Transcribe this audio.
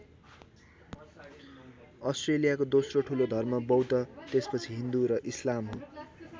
अस्ट्रेलियाको दोस्रो ठुलो धर्म बौद्ध त्यसपछि हिन्दू र इस्लाम हो।